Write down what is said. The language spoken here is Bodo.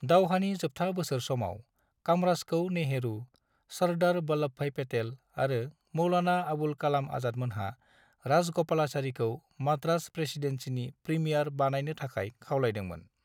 दावहानि जोबथा बोसोर समाव, कामराजखौ नेहरू, सर्दार वल्लभभाई पेटेल आरो मौलाना आबुल कालाम आजादमोनहा राजग'पालाचारीखौ माद्रास प्रेसीडेन्सिनि प्रीमियार बानायनो थाखाय खावलायदोंमोन।